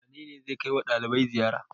Wane ne zai kai wa ɗalibai ziyara?